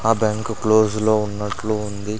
ఆ bank close లో ఉన్నట్లు ఉంది.